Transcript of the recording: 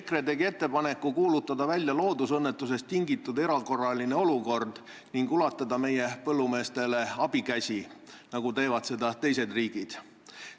EKRE tegi ettepaneku kuulutada välja loodusõnnetusest tingitud erakorraline olukord ning ulatada põllumeestele abikäsi, nagu teevad seda teised riigid.